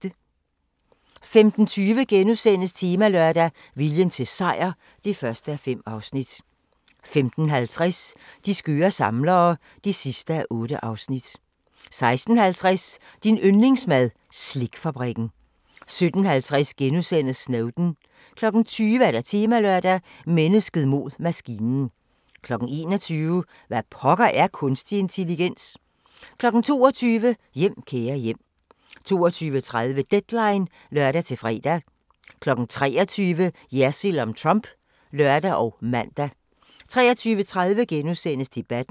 15:20: Temalørdag: Viljen til sejr (1:5)* 15:50: De skøre samlere (8:8) 16:50: Din yndlingsmad: Slikfabrikken 17:50: Snowden * 20:00: Temalørdag: Mennesket mod maskinen 21:00: Hvad pokker er kunstig intelligens? 22:00: Hjem, kære hjem 22:30: Deadline (lør-fre) 23:00: Jersild om Trump (lør og man) 23:30: Debatten *